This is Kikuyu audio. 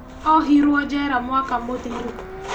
Ohirwo njera mwaka mũthiru